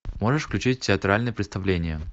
можешь включить театральное представление